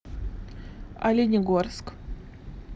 оленегорск